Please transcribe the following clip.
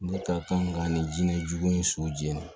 Ne ka kan ka nin jinɛ jugu ni so jeni